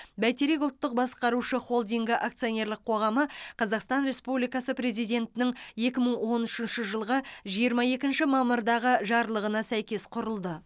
бәйтерек ұлттық басқарушы холдингі акционерлік қоғамы қазақстан республикасы президентінің екі мың он үшінші жылғы жиырма екінші мамырдағы жарлығына сәйкес құрылды